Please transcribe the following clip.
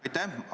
Aitäh!